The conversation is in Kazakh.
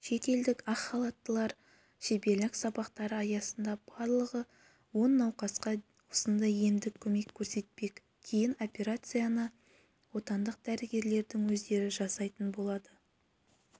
шетелдік ақ халаттылар шеберлік сабақтары аясында барлығы он науқасқа осындай емдік көмек көрсетпек кейін операцияны отандық дәрігерлердің өздері жасайтын болады